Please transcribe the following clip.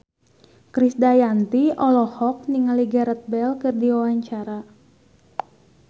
Krisdayanti olohok ningali Gareth Bale keur diwawancara